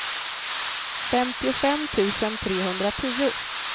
femtiofem tusen trehundratio